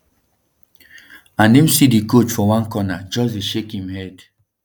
and im see di coach for one corner just dey shake im head.